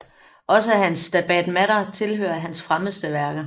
Også hans Stabat mater tilhører hans fremmeste værker